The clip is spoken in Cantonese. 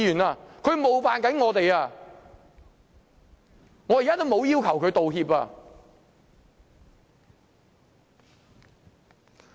他正在冒犯我們，我現在也沒有要求他道歉。